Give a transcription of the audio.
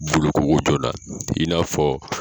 Boloko joona i n'a fɔ